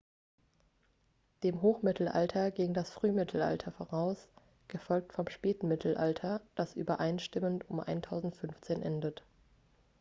dem hochmittelalter ging das frühmittelalter voraus gefolgt vom spätmittelalter das übereinstimmend um 1500 endet